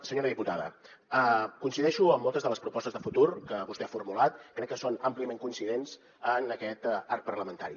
senyora diputada coincideixo amb moltes de les propostes de futur que vostè ha formulat crec que són àmpliament coincidents en aquest arc parlamentari